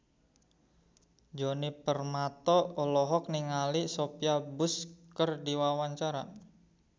Djoni Permato olohok ningali Sophia Bush keur diwawancara